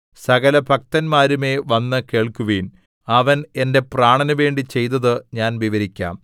സകലഭക്തന്മാരുമേ വന്ന് കേൾക്കുവിൻ അവൻ എന്റെ പ്രാണനുവേണ്ടി ചെയ്തത് ഞാൻ വിവരിക്കാം